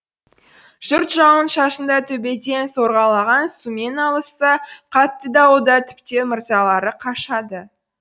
жұрт жауын шашында төбеден сорғалаған сумен алысса қатты дауылда тіптен мазалары қашады